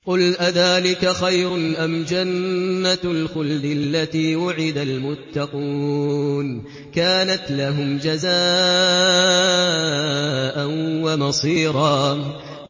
قُلْ أَذَٰلِكَ خَيْرٌ أَمْ جَنَّةُ الْخُلْدِ الَّتِي وُعِدَ الْمُتَّقُونَ ۚ كَانَتْ لَهُمْ جَزَاءً وَمَصِيرًا